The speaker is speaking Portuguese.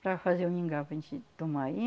para fazer o mingau para a gente tomar, aí